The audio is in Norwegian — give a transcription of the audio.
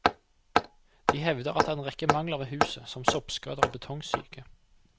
De hevder at det er en rekke mangler ved huset, som soppskader og betongsyke.